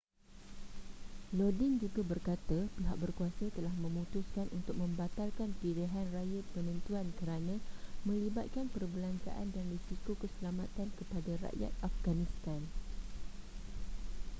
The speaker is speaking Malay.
lodin juga berkata pihak berkuasa telah memutuskan untuk membatalkan pilihanraya penentuan kerana melibatkan perbelanjaan dan risiko keselamatan kepada rakyat afghanistan